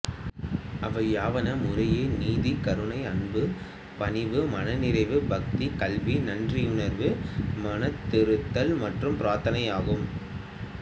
அவையாவன முறையே நீதி கருணை அன்பு பணிவு மனநிறைவு பக்தி கல்வி நன்றியுணர்வு மனந்திருந்துதல் மற்றும் பிரார்த்தனை ஆகும்